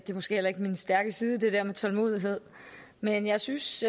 er måske heller ikke min stærke side det der med tålmodighed men jeg synes